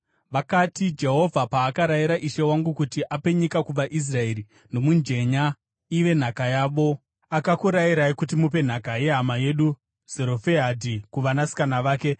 Vakati, “Jehovha paakarayira ishe wangu kuti ape nyika kuvaIsraeri nomujenya ive nhaka yavo, akakurayirai kuti mupe nhaka yehama yedu Zerofehadhi kuvanasikana vake.